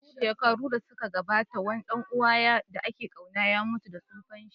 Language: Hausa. Shekaru da suka gabata, wani ɗan uwa da ake ƙauna ya mutu da tsufanshi.